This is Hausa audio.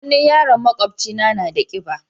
Hannun yaron maƙwabcina na da kiba.